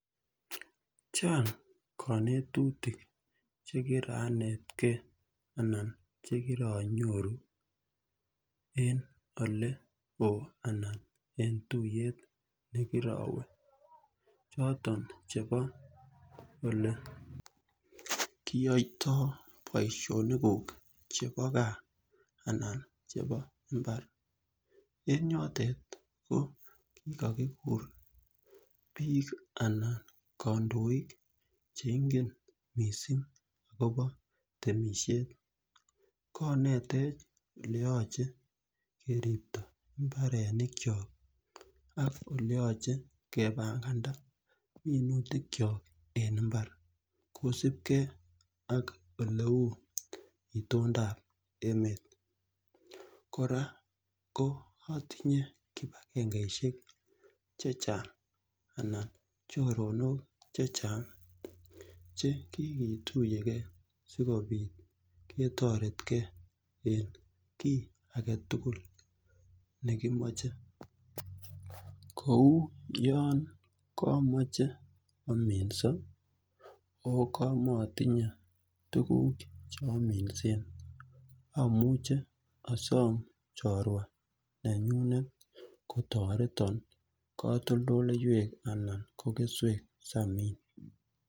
Chang' kanetutik che kiranetgei anan che kiranyoru en ole oo ana en tuyet ne kirawe choton chepo ole kiyaitai poishonikuk chepo gaa anan chepo mbar. En yotet ko kikakikur piik anan kandoik che ingen missing' akopa temishet. Ko netech ole yache keripta mbarenikchok ak ole yache kepanganda minutikchok en imbar kosupgei ak ole u itondap emet. Kora atinye kipagengeishek che chang' anan choronok che chang' chang' che kiketuye ge asikopit ketaretgei eng' ki age tugul ne kimache kou yan lamache aminsa ako ka maatinye tuguuk che aminsen amuch asam chrowa nenyunet kotaretan katoldoloiwek anan ko keswek asi amin.